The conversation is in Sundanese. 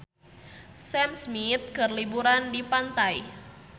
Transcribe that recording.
Sam Smith keur liburan di pantai